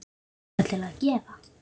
Líka til að gefa.